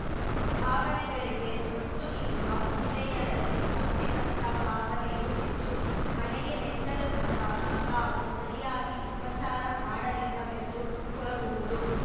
ಭಾವನೆಗಳಿಗೆ ಒತ್ತು ನೀಡುವ ಮಹಿಳೆಯರಲ್ಲಿ ತಪ್ಪಿತಸ್ಥ ಭಾವನೆಯೂ ಹೆಚ್ಚು ಮನೆಗೆ ನೆಂಟರು ಬಂದಾಗ ತಾವು ಸರಿಯಾಗಿ ಉಪಚಾರ ಮಾಡಲಿಲ್ಲವೆಂದು ಕೊರಗುವುದು